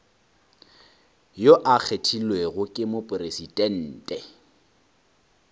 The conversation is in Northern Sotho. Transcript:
yo a kgethilwego ke mopresidente